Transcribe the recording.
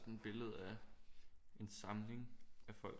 Sådan et billede af en samling af folk